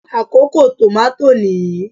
Àkókò tòmátò nìyí.